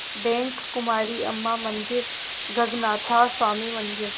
bank Kumari Amman मंदिर गगनाथा स्वामी मंदिर